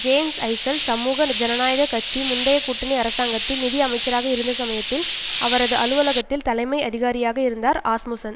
hence Eichel சமூக ஜனநாயக கட்சி முந்தைய கூட்டணி அரசாங்கத்தில் நிதி அமைச்சராக இருந்த சமயத்தில் அவரது அலுவகத்தில் தலைமை அதிகாரியாக இருந்தார் ஆஸ்முசன்